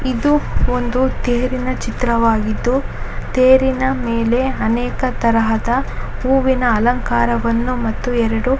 ಇದು ಒಂದು ತೇರಿನ ಚಿತ್ರವಾಗಿದ್ದು ತೇರಿನ ಮೇಲೆ ಅನೇಕ ತರಹದ ಹೂವಿನ ಅಲಂಕಾರವನ್ನು ಮತ್ತು ಎರಡು--